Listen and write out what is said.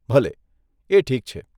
ભલે, એ ઠીક છે.